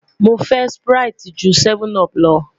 Mo fẹ sprite je 7up